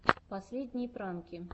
последние пранки